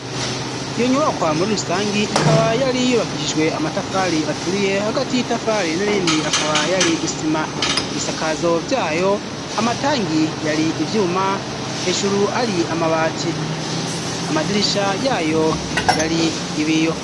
Iyo nyubakwa muri rusangi ikaba yari yubakishijwe amatafari aturiye, hagati y'itafari n'irindi akaba yari isima. Ibisakazo vyayo, amatangi yari ivyuma, hejuru hari amabati. Amadirisha yayo yari ibiyo.